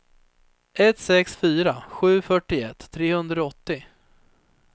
ett sex fyra sju fyrtioett trehundraåttio